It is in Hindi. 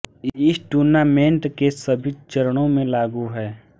इस टूर्नामेंट के सभी चरणों में लागू है